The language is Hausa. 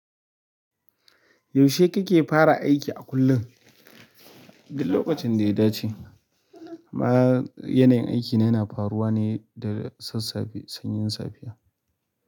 Yaushe kike fara aiki a kullum? Duk lokacin da ya dace. Ma yanayin aiki na yana faruwa ne daga sassafe sanyin safiya.